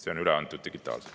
See on üle antud digitaalselt.